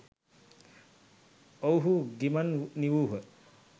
ඔවුහු ගිමන් නිවූහ